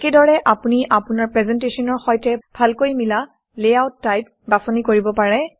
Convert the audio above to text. একেদৰে আপুনি আপোনাৰ প্ৰেজেণ্টেশ্যনৰ সৈতে ভালকৈ মিলা লেআউট টাইপ বাছনি কৰিব পাৰে